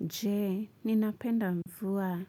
Je, ninapenda mvua.